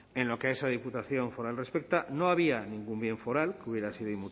en lo que a esa diputación foral respecta no había ningún bien foral que hubiera sido